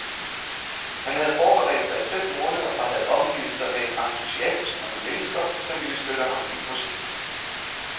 Han havde forberedt sig i fem måneder og havde omgivet sig med en entusiastisk gruppe mennesker, som ville støtte ham i projektet.